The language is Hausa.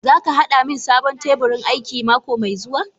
Zaka hada min sabon teburin aiki mako mai zuwa?